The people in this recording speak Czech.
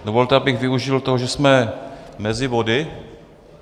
Dovolte, abych využil toho, že jsme mezi body.